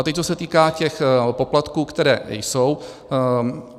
A teď co se týká těch poplatků, které nejsou.